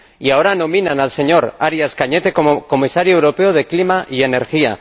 Y ahora nominan al señor Arias Cañete como Comisario europeo de Clima y Energía.